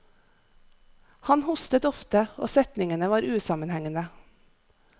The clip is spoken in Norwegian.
Han hostet ofte og setningene var usammenhengende.